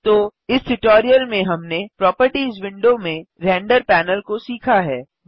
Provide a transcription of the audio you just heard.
तो इस ट्यूटोरियल में हमने प्रोपर्टिज विंडो में रेंडर पैनल को सीखा है